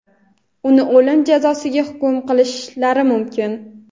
Uni o‘lim jazosiga hukm qilishlari mumkin.